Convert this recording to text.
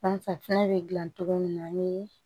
An fɛ fɛnɛ bɛ dilan cogo min na ni